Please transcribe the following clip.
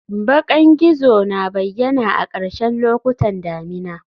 Bakan gizo na bayyana a ƙarshen lokutan damina